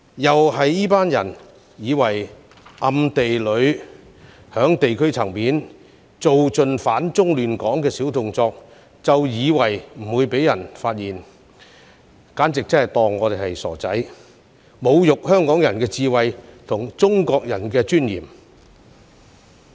這群人暗地裏在地區層面做盡"反中亂港"的小動作，以為不會被人發現，簡直把我們當作傻瓜，侮辱香港人的智慧和中國人的尊嚴。